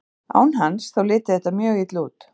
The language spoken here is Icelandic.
Án hans, þá liti þetta mjög illa út.